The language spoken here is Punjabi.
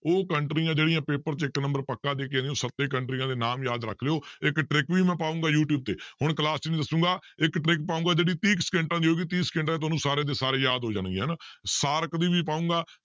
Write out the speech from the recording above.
ਉਹ ਕੰਟਰੀਆਂ ਜਿਹੜੀਆਂ ਪੇਪਰ 'ਚ ਇੱਕ number ਪੱਕਾ ਦੇ ਸੱਤੇ ਕੰਟਰੀਆਂ ਦੇ ਨਾਮ ਯਾਦ ਰੱਖ ਲਇਓ ਇੱਕ trick ਵੀ ਮੈਂ ਪਾਵਾਂਗਾ ਯੂ ਟਿਊਬ ਤੇ ਹੁਣ class 'ਚ ਨੀ ਦੱਸਾਂਗਾ ਇੱਕ trick ਪਾਵਾਂਗਾ ਜਿਹੜੀ ਤੀਹ ਕੁ ਸਕਿੰਟਾਂ ਦੀ ਹੋਊਗੀ ਤੀਹ ਸਕਿੰਟਾਂ 'ਚ ਤੁਹਾਨੂੰ ਸਾਰੇ ਦੇ ਸਾਰੇ ਯਾਦ ਹੋ ਜਾਣਗੇ ਹਨਾ ਸਾਰਕ ਦੀ ਵੀ ਪਾਵਾਂਗਾ